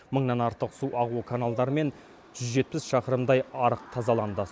мыңнан артық су ағу каналдары мен жүз жетпіс шақырымдай арық тазаланды